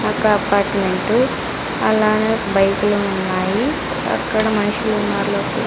ఒక అపార్ట్మెంటు అలానే బైకులు ఉన్నాయి అక్కడ మనుషులున్నారు లోపల.